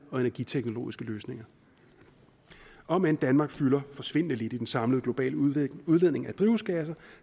og energiteknologiske løsninger om end danmark fylder forsvindende lidt i den samlede globale udledning udledning af drivhusgasser